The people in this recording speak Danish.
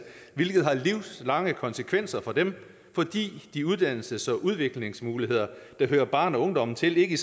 hvilket har livslange konsekvenser for dem fordi de uddannelses og udviklingsmuligheder der hører barn og ungdom til ikke